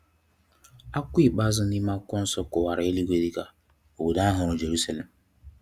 Akwụkwọ ikpeazụ n'ime akwụkwọ nsọ kọwara eluigwe dika “Obodo ohuru Jeruselem”.